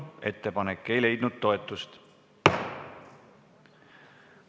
Ettepanek ei leidnud toetust.